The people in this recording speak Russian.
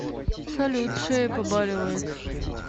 салют шея побаливает